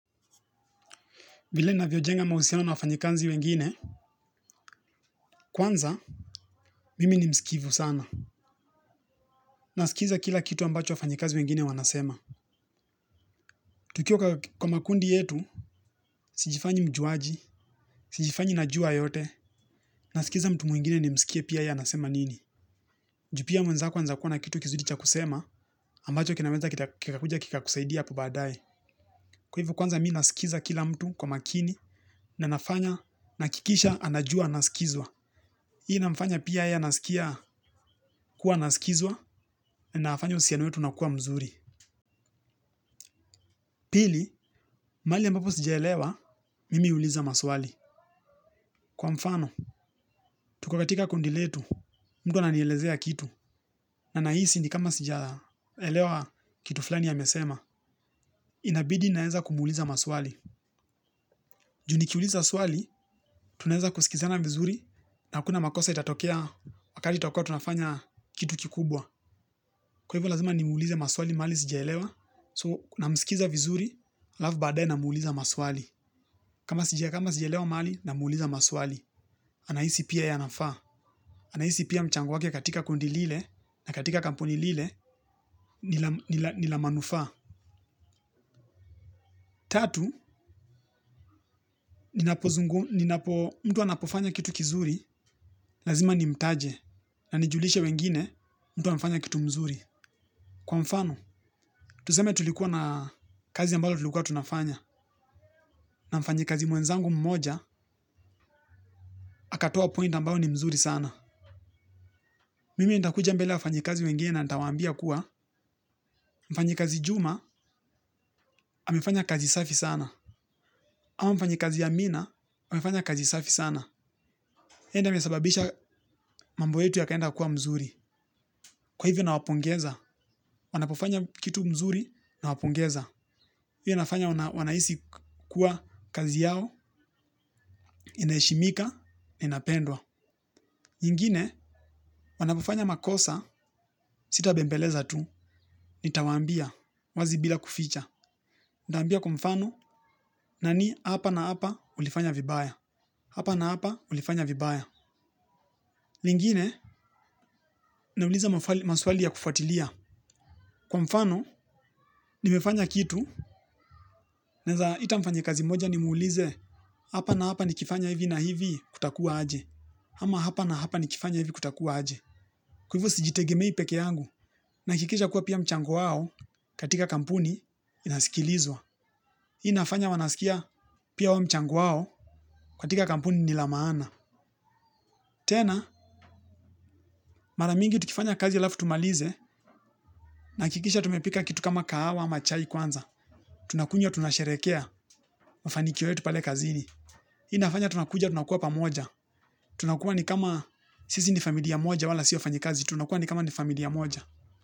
Vile ninavyojenga mahusiano na wafanyekazi wengine, kwanza, mimi ni mskivu sana. Nasikiza kila kitu ambacho wafanyikazi wengine wanasema. Tukiwa kwa makundi yetu, sijifanyi mjuaji, sijifanyi najua yote, nasikiza mtu mwingine nimsikie pia yeye anasema nini. Ju pia mwenzako anaeza kuwa na kitu kizuri cha kusema, ambacho kinaweza kikakuja kikakusaidia hapo baadae. Kwa hivo kwanza mi nasikiza kila mtu kwa makini, na nafanya, nahakikisha, anajua, anasikizwa. Hii inamfanya pia yeye anasikia kuwa anasikizwa nafanya uhusiano wetu unakuwa mzuri. Pili, mahali ambapo sijaelewa, mimi huuliza maswali. Kwa mfano, tuko katika kundi letu, mtu ananielezea kitu. Na nahisi ni kama sijaelewa kitu fulani amesema. Inabidi naeza kumuuliza maswali. Ju nikiuliza swali, tunaeza kusikizana vizuri na hakuna makosa itatokea wakati tutakuwa tunafanya kitu kikubwa. Kwa hivyo lazima nimuulize maswali mahali sijaelewa, so namsikiza vizuri, halafu badae namuuliza maswali. Kama sijelewa mali, na muuliza maswali. Anahisi pia yeye anafaa. Anaisi pia mchango wake katika kundi lile, na katika kampuni lile, ni la manufaa. Tatu, mtu anapofanya kitu kizuri, lazima nimtaje, na nijulishe wengine, mtu amefanya kitu mzuri. Kwa mfano, tuseme tulikuwa na kazi ambalo tulikuwa tunafanya. Na mfanyikazi mwenzangu mmoja, akatoa point ambayo ni mzuri sana. Mimi nitakuja mbele ya wafanyikazi wengine na nitawaambia kuwa mfanyikazi juma, amefanya kazi safi sana. Ama mfanyikazi amina, amefanya kazi safi sana. Yeye ndo amesababisha mambo yetu yakaenda kuwa mzuri. Kwa hivyo nawapongeza, wanapofanya kitu mzuri nawapongeza. Pia nafanya wanahisi kuwa kazi yao, inaheshimika, inapendwa. Nyingine wanapofanya makosa sitabembeleza tu nitawaambia wazi bila kuficha. Ntaambia kwa mfano nani hapa na hapa ulifanya vibaya. Hapa na hapa ulifanya vibaya. Lingine nauliza maswali ya kufuatilia. Kwa mfano nimefanya kitu naeza ita mfanyakazi mmoja nimuulize hapa na hapa nikifanya hivi na hivi kutakuwa aje. Ama hapa na hapa nikifanya hivi kutakuwa aje. Kwa hivyo sijitegemei peke yangu. Nahakikisha kuwa pia mchango wao katika kampuni unasikilizwa. Hii inafanya wanasikia pia wao mchango wao katika kampuni ni la maana. Tena mara mingi tukifanya kazi halafu tumalize. Nahakikisha tumepika kitu kama kahawa ama chai kwanza. Tunakunywa tunasherekea mafanikio yetu pale kazini. Hii inafanya tunakuja tunakuwa pamoja. Tunakuwa ni kama sisi ni familia moja wala si wafanyikazi. Tunakuwa ni kama ni familia moja.